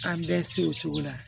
An bɛɛ se o cogo la